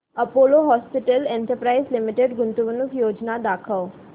Apollo hospitals enterprise limited गुंतवणूक योजना दाखव